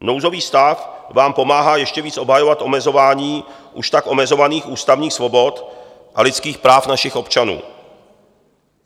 Nouzový stav vám pomáhá ještě více obhajovat omezování už tak omezovaných ústavních svobod a lidských práv našich občanů.